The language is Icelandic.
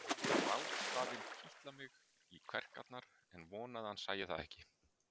Ég fann grátstafinn kitla mig í kverkarnar en vonaði að hann sæi það ekki.